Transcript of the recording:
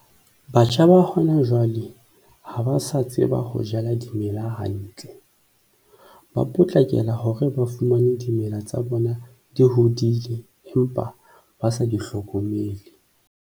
Batjha ba hona jwale ha ba sa tseba ho jala dimela hantle, ba potlakela hore ba fumane dimela tsa bona di hodile empa ba sa di hlokomele.